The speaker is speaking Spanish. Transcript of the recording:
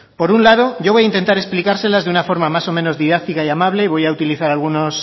por un lado yo voy a intentar explicárselas de una forma más o menos didáctica y amable y voy a utilizar